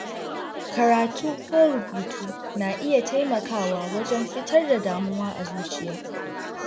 Karatu ko rubutu na iya taimakawa wajen fitar da damuwa a zuciya.